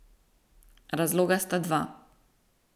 Razloga sta dva.